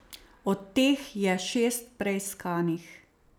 Od teh je šest preiskanih.